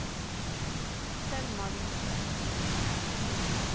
Selma Winther